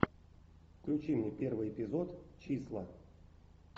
включи мне первый эпизод числа